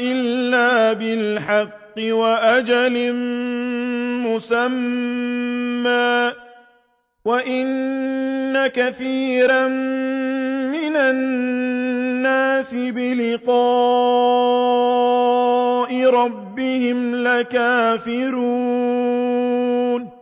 إِلَّا بِالْحَقِّ وَأَجَلٍ مُّسَمًّى ۗ وَإِنَّ كَثِيرًا مِّنَ النَّاسِ بِلِقَاءِ رَبِّهِمْ لَكَافِرُونَ